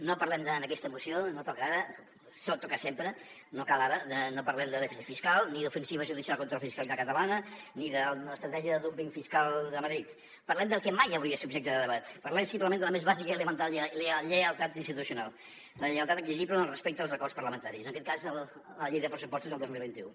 no parlem en aquesta moció no toca ara toca sempre no cal ara de dèficit fiscal ni d’ofensiva judicial contra la fiscalitat catalana ni de l’estratègia de dúmping fiscal de madrid parlem del que mai hauria de ser objecte de debat parlem simplement de la més bàsica i elemental lleialtat institucional la lleialtat exigible en el respecte als acords parlamentaris en aquest cas a la llei de pressupostos del dos mil vint u